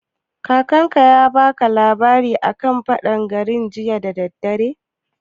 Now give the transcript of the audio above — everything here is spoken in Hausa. Kakar ka ta baka labari a kan faɗan gari jiya da daddare?